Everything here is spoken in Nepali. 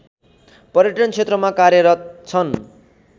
पर्यटन क्षेत्रमा कार्यरत छन्